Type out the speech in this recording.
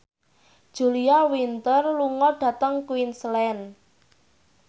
Julia Winter lunga dhateng Queensland